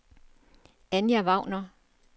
Anja Wagner